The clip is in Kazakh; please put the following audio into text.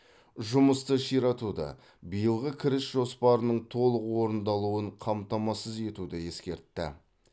жұмысты ширатуды биылғы кіріс жоспарының толық орындалуын қамтамасыз етуді ескертті